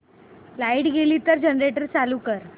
light गेली तर generator चालू कर